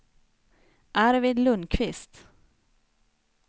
Arvid Lundquist